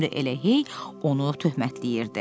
Müəllim də elə hey onu töhmətləyirdi.